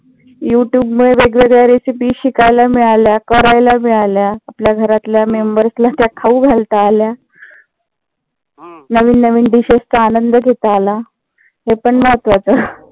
युटूबमुळे वेगवेगळ्या recipe शिकायला मिळाल्या करायला मिळाल्या. आपल्या घरातल्या members ला त्या खाऊ घालता आल्या.